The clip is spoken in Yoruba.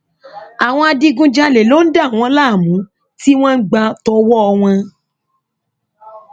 àwọn adigunjalè ló ń dà wọn láàmú tí wọn ń gbà tọwọ wọn